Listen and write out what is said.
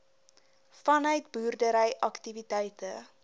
vanuit boerdery aktiwiteite